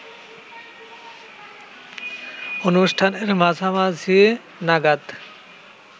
অনুষ্ঠানের মাঝামাঝি নাগাদ